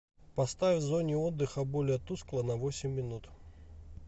поставь в зоне отдыха более тускло на восемь минут